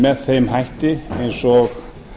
með þeim hætti eins og